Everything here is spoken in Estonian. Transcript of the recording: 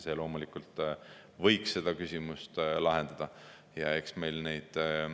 See loomulikult võiks seda küsimust lahendada.